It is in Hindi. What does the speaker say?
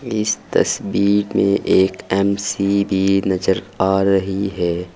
इस तस्वीर में एक एम_सी_बी नजर आ रही है।